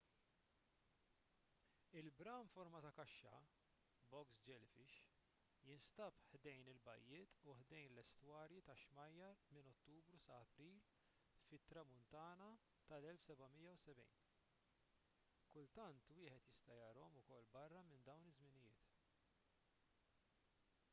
il-bram forma ta’ kaxxa box jellyfish” jinstab ħdejn il-bajjiet u ħdejn l-estwarji tax-xmajjar minn ottubru sa april fit-tramuntana tal-1770. kultant wieħed jista’ jarahom ukoll barra minn dawn iż-żminijiet